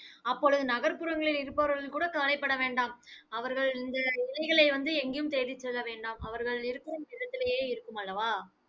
அப்பொழுது, நகர்ப்புறங்களில் இருப்பவர்கள் கூட கவலைப்பட வேண்டாம். அவர்கள் இந்த இலைகளை எங்கயும் தேடிச்செல்ல வேண்டாம் அவர்கள் இருக்கும் இடத்திலேயே இருக்குமல்லவா